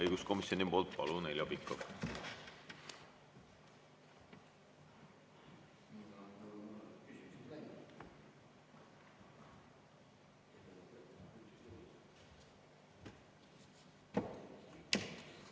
Õiguskomisjoni poolt, palun, Heljo Pikhof!